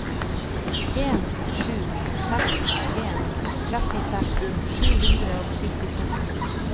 en sju seks en trettiseks sju hundre og syttito